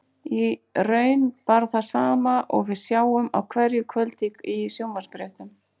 Í raun bara það sama og við sjáum á hverju kvöldi í sjónvarpsfréttum.